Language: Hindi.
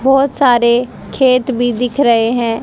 बहोत सारे खेत भी दिख रहे हैं।